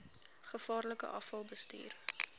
gevaarlike afval bestuur